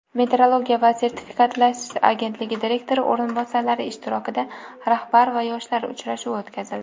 metrologiya va sertifikatlashtirish agentligi direktori o‘rinbosarlari ishtirokida "Rahbar va yoshlar" uchrashuvi o‘tkazildi.